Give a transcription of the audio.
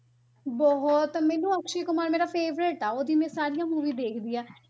ਬਹੁਤ ਮੈਨੂੰ ਅਕਸ਼ੇ ਕੁਮਾਰ ਮੇਰਾ favourite ਆ, ਉਹਦੀ ਮੈਂ ਸਾਰੀਆਂ movie ਦੇਖਦੀ ਹਾਂ।